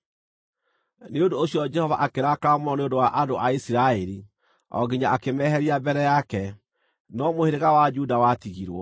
Nĩ ũndũ ũcio Jehova akĩrakara mũno nĩ ũndũ wa andũ a Isiraeli, o nginya akĩmeheria mbere yake. No mũhĩrĩga wa Juda watigirwo.